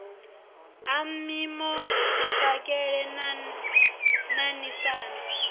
a mpimo mapakele na ṋaṋisana